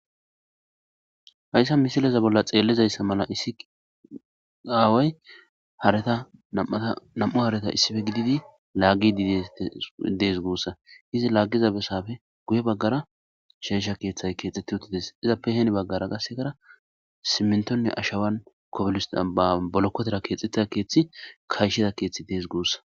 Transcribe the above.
Hayissa missileza bolla xeellizayissa mala issi awayi haareta nam''u hareta issippe gididi laagidi dees gussa .izzi lagizza besappe guye bagara sheyisha keththayi kexxetti uttides .izzappe heni bagara qassekara simntoni ashawanni bolokotera kexetida keththi kayishshida keththi Desi gussa.